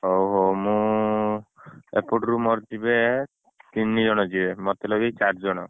ହଉ, ହଉ ମୁଁ ଏପଟରୁ ମୋର ଯିବେ ତିନଜଣ ଯିବେ ମତେ ଲଗେଇ ଚାରିଜଣ ଯିବେ